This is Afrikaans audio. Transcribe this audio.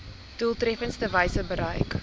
doeltreffendste wyse bereik